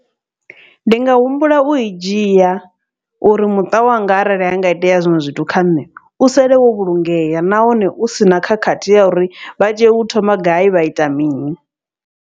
Ndi nga humbula ui dzhia uri muṱa wanga arali hanga itea zwiṅwe zwithu kha nṋe u sale wo vhulungea, nahone u sina khakhathi ya uri vha tea u thoma gai vha ita mini.